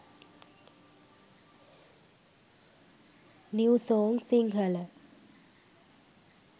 new song sinhala